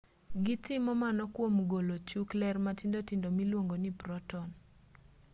gitimo mano kwom golo chuk ler matindo tindo miluongo ni proton